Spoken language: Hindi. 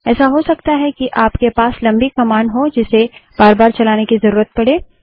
ऐसा हो सकता है कि आप के पास लम्बी कमांड हो जिसे बार बार चलाने की जरूरत पड़े